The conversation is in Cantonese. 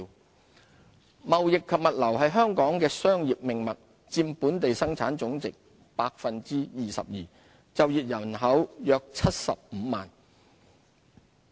貿易及物流貿易及物流是香港商業的命脈，佔本地生產總值 22%， 就業人口約75萬。